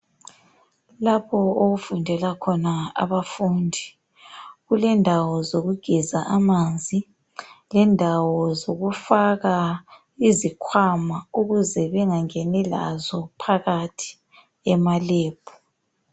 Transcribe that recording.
Lapho okufundela khona abafundi kulendawo zokugeza amanzi, lendawo zokufaka izikhwama ukuze bengangeni lazo emalebhu.